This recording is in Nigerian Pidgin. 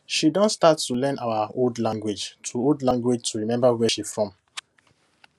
she don start to learn our old language to old language to remember where she from